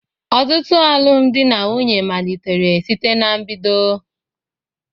Ọtụtụ alụmdi na nwunye malitere site ná mbedo